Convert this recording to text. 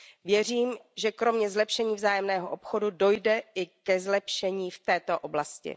Věřím, že kromě zlepšení vzájemného obchodu dojde i ke zlepšení v této oblasti.